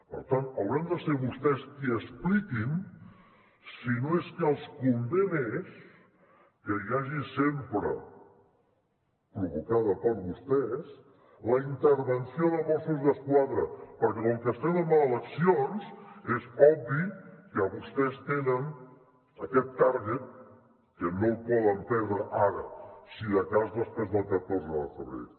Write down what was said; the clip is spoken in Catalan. per tant hauran de ser vostès qui expliquin si no és que els convé més que hi hagi sempre provocada per vostès la intervenció de mossos d’esquadra perquè com que estem en eleccions és obvi que vostès tenen aquest targetque no el poden perdre ara si de cas després del catorze de febrer